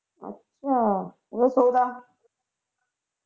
ਅੱਛਾ ਓਹਦਾ ਸੋਹਰਾ